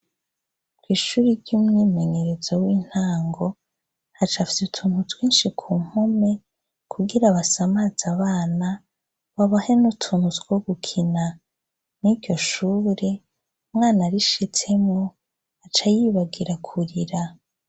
Ishure ry 'umwimenyerezo wintango hacapfye utuntu twinshi kumpome kugira basamaze abana babahe n ' utuntu twogukina mwiryo shure umwana arishitsemwo acayibagira kurira.